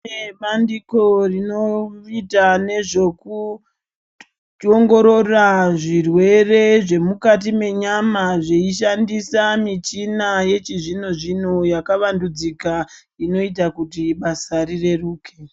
Kune bandiko rinoita nezvekuongorora zvirwere zvemukati menyama veishandisa michina yechizvino zvino yakavandudzika inoita kuti basa rireurike.